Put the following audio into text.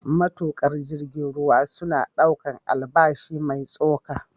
Matuƙa jirgin ruwa suna ɗaukar albashi mai tsoka.